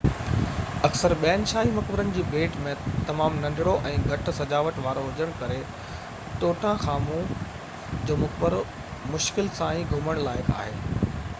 اڪثر ٻين شاهي مقبرن جي ڀيٽ ۾ تمام ننڍڙو ۽ گهٽ سجاوٽ وارو هجڻ ڪري ٽوٽان خامون جو مقبرو مشڪل سان ئي گهمڻ لائق آهي